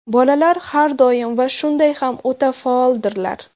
Bolalar har doim va shunday ham o‘ta faoldirlar.